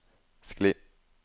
skli